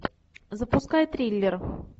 запускай триллер